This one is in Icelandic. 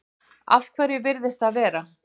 Af hverju virðist það vera?